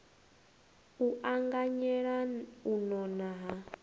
u anganyela u nona ha